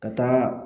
Ka taa